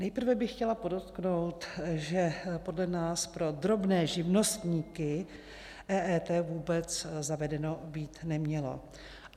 Nejprve bych chtěla podotknout, že podle nás pro drobné živnostníky EET vůbec zavedeno být nemělo.